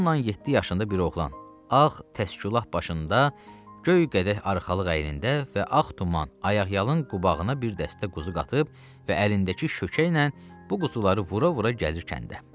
Yolnan 7 yaşında bir oğlan, ağ təskü lap başında, göy qədəh arxalıq əynində və ağ tuman, ayaqyalın qubağına bir dəstə quzu qatıb və əlindəki şökəklə bu quzuları vura-vura gəlir kəndə.